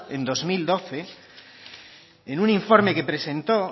en dos mil doce en un informe que presentó